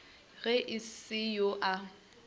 ge e se yo a